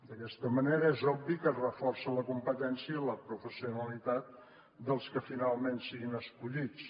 d’aquesta manera és obvi que es reforça la competència i la professionalitat dels que finalment siguin escollits